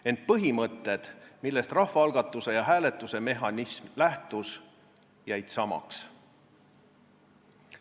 Ent põhimõtted, millest rahvaalgatuse ja hääletuse mehhanism lähtus, jäid samaks.